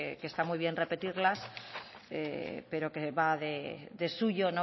que está muy bien repetirlas pero que va de suyo